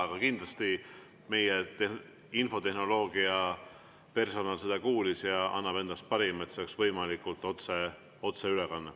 Aga kindlasti meie infotehnoloogia personal kuulis seda ja annab endast parima, et see ülekanne oleks võimalikult otse.